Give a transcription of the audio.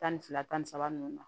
Tan ni fila tan ni saba ninnu na